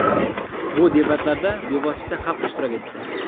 Bu debatlarda bevosita xalq ishtirok etdi.